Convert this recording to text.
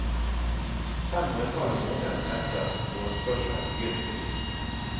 Fem og en halv måned etter forespørselen begynte vi.